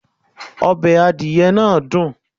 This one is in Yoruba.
Ọbẹ̀ adìyẹ náà dùn.